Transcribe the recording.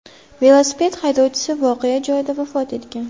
Velosiped haydovchisi voqea joyida vafot etgan.